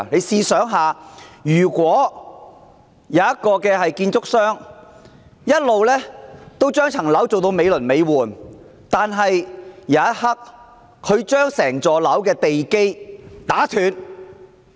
試想想，假設有家建築商，一直把一幢樓宇建得美輪美奐，但在頃刻間卻把整幢樓宇的地基打斷。